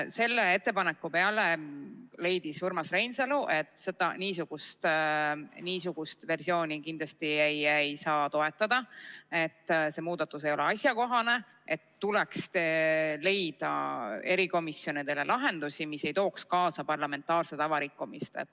Selle ettepaneku peale leidis Urmas Reinsalu, et niisugust versiooni kindlasti ei saa toetada, et see muudatus ei ole asjakohane ja tuleks leida erikomisjonide puhul lahendus, mis ei tooks kaasa parlamentaarse tava rikkumist.